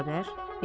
Xavər.